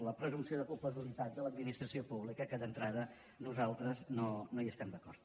la presumpció de culpabilitat de l’administració pública que d’entrada nosaltres no hi estem d’acord